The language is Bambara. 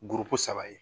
Guruko saba ye